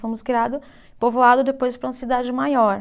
Fomos criado, povoado depois para uma cidade maior.